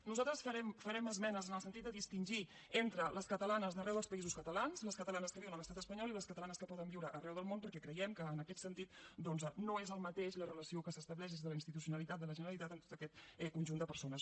nosaltres farem esmenes en el sentit de distingir entre les catalanes d’arreu dels països catalans les catalanes que viuen a l’estat espanyol i les catalanes que poden viure arreu del món perquè creiem que en aquest sentit doncs no és el mateix la relació que s’estableix des de la institucionalitat de la generalitat amb tot aquest conjunt de persones